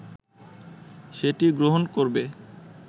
সেটি গ্রহণ করবে